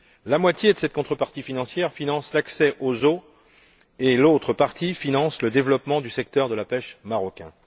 La moitié de cette contrepartie financière finance l'accès aux eaux et l'autre partie finance le développement du secteur de la pêche marocain.